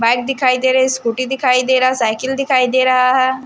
Bike दिखाई दे रही स्कूटी दिखाई दे रहा साइकिल दिखाई दे रहा है।